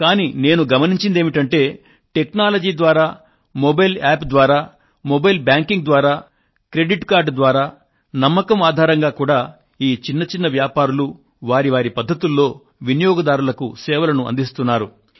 కానీ నేను గమనించిందేమిటంటే టెక్నాలజీ ద్వారా మొబైల్ యాప్ ద్వారా మొబైల్ బ్యాంకింగ్ ద్వారా క్రెడిట్ కార్డు ద్వారా నమ్మకం ఆధారంగా కూడా ఈ చిన్న చిన్న వ్యాపారులు వారి వారి పధ్ధతులలో వినియోగదారులకు సేవలను అందిస్తున్నారు